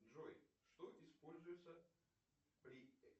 джой что используется при